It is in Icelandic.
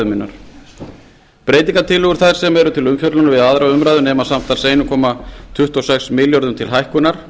minnar breytingartillögur þær sem eru til umfjöllunar við aðra umræðu nema samtals einn komma tuttugu og sex milljörðum til hækkunar